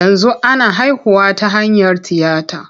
Yanzu ana haihuwa ta hanyar tiyata.